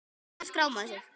Hvar skráir maður sig?